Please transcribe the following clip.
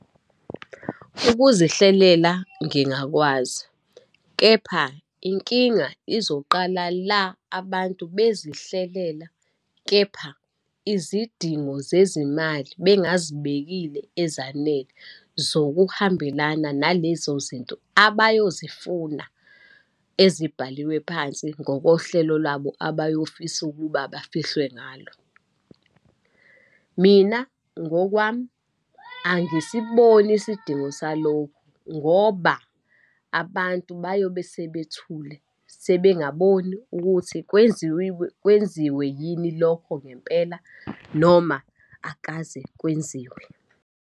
Ukuzihlelela ngingakwazi, kepha inkinga izoqala la abantu bezihlelela kepha izidingo zezimali bengazibekile ezanele zokuhambelana nalezo zinto abayozifuna ezibhaliwe phansi ngokohlelo lwabo abayofisa ukuba bafihlwe ngalo. Mina, ngokwami angisiboni isidingo salokhu, ngoba abantu bayobe sebethule sebengaboni ukuthi kwenziwiwe, kwenziwe yini lokho ngempela, noma akaze kwenziwe.